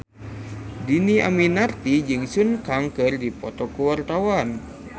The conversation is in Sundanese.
Dhini Aminarti jeung Sun Kang keur dipoto ku wartawan